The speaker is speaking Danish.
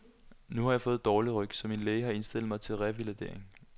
Nu har jeg fået dårlig ryg, så min læge har indstillet mig til revalidering.